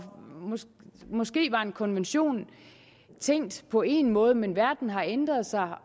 måske var en konvention tænkt på én måde men verden har ændret sig